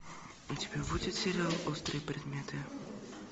у тебя будет сериал острые предметы